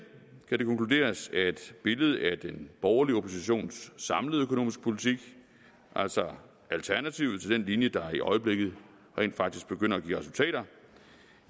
kan det konkluderes at billedet af den borgerlige oppositions samlede økonomiske politik altså alternativet til den linje der i øjeblikket rent faktisk begynder at give resultater